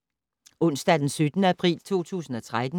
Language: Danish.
Onsdag d. 17. april 2013